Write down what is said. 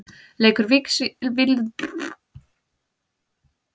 Leikur Víkings Ólafsvíkur gegn Fram er í framlengingu þar sem staðan er jöfn.